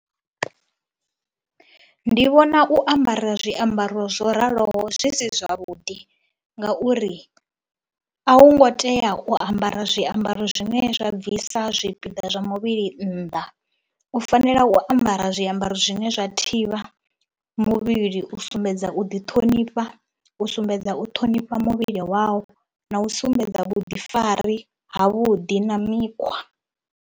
Ndi vhona u ambara zwiambaro zwo raloho zwi si zwavhuḓi ngauri a u ngo tea u ambara zwiambaro zwine zwa bvisa zwipiḓa zwa muvhili nnḓa, u fanela u ambara zwiambaro zwine zwa thivha muvhili u sumbedza u ḓiṱhonifha, u sumbedza u ṱhonifha muvhili wau na u sumbedza vhuḓifari havhuḓi na mikhwa.